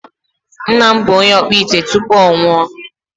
Nna m bụ onye ọkpụ ite tupu ọ nwụọ.